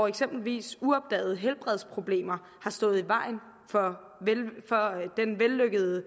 eksempelvis uopdagede helbredsproblemer har stået i vejen for den vellykkede